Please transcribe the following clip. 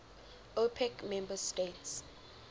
opec member states